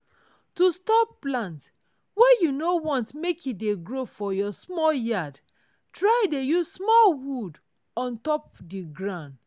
to stop plant wey you no want make e dey grow for your small yard try dey use small wood on top di ground